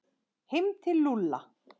Heim til Lúlla!